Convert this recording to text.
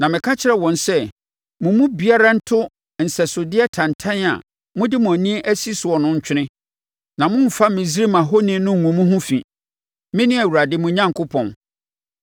Na meka kyerɛɛ wɔn sɛ, “Mo mu biara nto nsɛsodeɛ tantan a mode mo ani asi soɔ no ntwene na mommfa Misraim ahoni no ngu mo ho fi, mene Awurade, mo Onyankopɔn.”